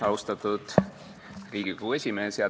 Austatud Riigikogu esimees!